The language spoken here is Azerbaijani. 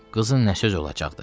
Qızın nə söz olacaqdı?